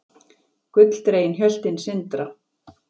Gulldregin hjöltin sindra.